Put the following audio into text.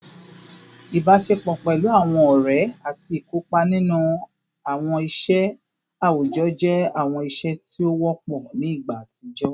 Ibaṣepọ pẹlu awọn ọrẹ ati ikopa ninu awọn iṣẹ awujọ jẹ awọn iṣe ti o wọpọ ni igba atijọ